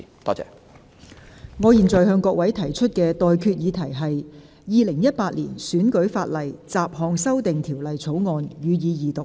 我現在向各位提出的待決議題是：《2018年選舉法例條例草案》，予以二讀。